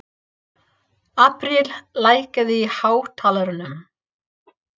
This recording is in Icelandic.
Apríl, lækkaðu í hátalaranum.